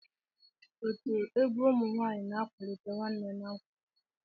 Otu egwu ụmụ nwaanyịna-akwalite nwanne na nkwado.